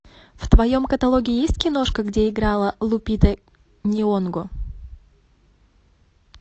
в твоем каталоге есть киношка где играла лупита нионго